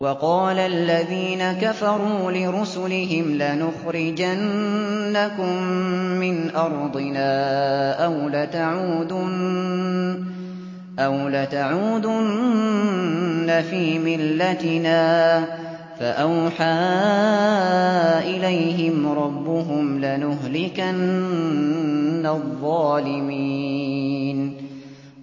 وَقَالَ الَّذِينَ كَفَرُوا لِرُسُلِهِمْ لَنُخْرِجَنَّكُم مِّنْ أَرْضِنَا أَوْ لَتَعُودُنَّ فِي مِلَّتِنَا ۖ فَأَوْحَىٰ إِلَيْهِمْ رَبُّهُمْ لَنُهْلِكَنَّ الظَّالِمِينَ